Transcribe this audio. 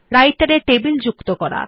রাইটের এ টেবিল যুক্ত করা